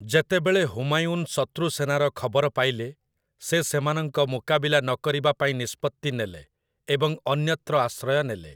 ଯେତେବେଳେ ହୁମାୟୁନ୍ ଶତ୍ରୁ ସେନାର ଖବର ପାଇଲେ, ସେ ସେମାନଙ୍କ ମୁକାବିଲା ନ କରିବାପାଇଁ ନିଷ୍ପତ୍ତି ନେଲେ ଏବଂ ଅନ୍ୟତ୍ର ଆଶ୍ରୟ ନେଲେ ।